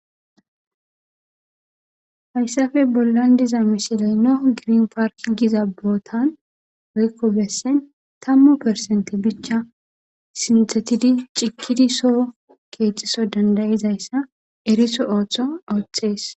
Hayssappe bollan beetiza misilen,nahu green bottan geetetiza,tammu perecente ciigiddi keeththan dussa dandda'za mala beeses.